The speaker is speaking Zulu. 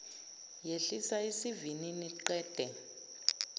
yehlisa isivinini qede